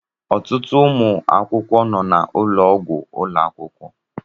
Ọtụtụ ụmụ akwụkwọ nọ n'ụlọọgwụ ụlọ akwụkwọ.